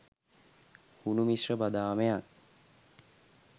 හුණු මිශ්‍ර බදාමයක්